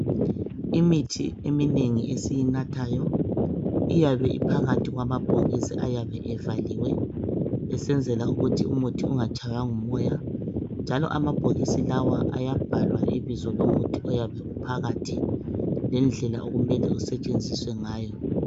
Imithi eminengi esiyinathayo ayabe ephakathi kwamabhokisi ayabe evaliwe esenzela ukuthi umuthi ingatshaywa ngumoya njalo amabhokisi lawa ayabhalwa ibizo lomuthi oyabe uphakathi lendlela okumele usetshenziswe ngayo